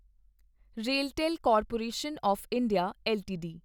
RailTel corporation of India LTD